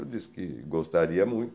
Eu disse que gostaria muito.